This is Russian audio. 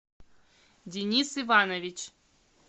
денис иванович